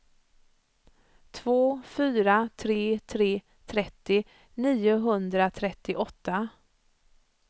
två fyra tre tre trettio niohundratrettioåtta